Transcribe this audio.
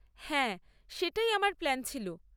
হ্যাঁ, সেটাই আমার প্ল্যান ছিল।